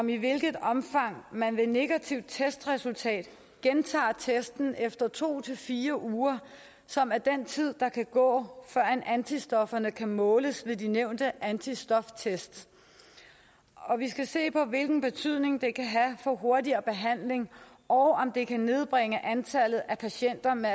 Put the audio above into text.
i hvilket omfang man ved negativt testresultat gentager testen efter to fire uger som er den tid der kan gå før antistofferne kan måles ved de nævnte antistoftest og vi skal se på hvilken betydning det kan have for hurtigere behandling og om det kan nedbringe antallet af patienter med